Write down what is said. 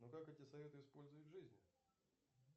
но как эти советы использовать в жизни